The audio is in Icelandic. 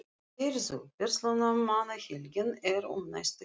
Heyrðu, Verslunarmannahelgin er um næstu helgi.